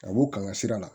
Ka b'u kan ka sira la